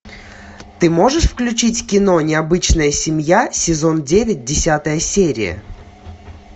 ты можешь включить кино необычная семья сезон девять десятая серия